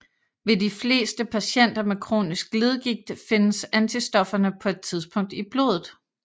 Ved de fleste patienter med kronisk leddegigt findes antistofferne på et tidspunkt i blodet